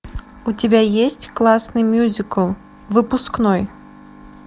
у тебя есть классный мюзикл выпускной